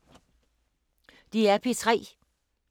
DR P3